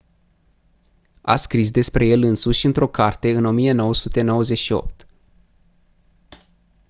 a scris despre el însuși într-o carte în 1998